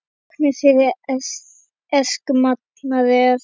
Táknið fyrir aserskt manat er.